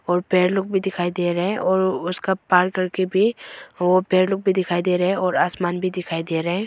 और पेड़ लोग भी दिखाई दे रहा हैं और उसका पार करके भी वो पेड़ लोग भी दिखाई दे रहे हैं और आसमान भी दिखाई दे रहे हैं।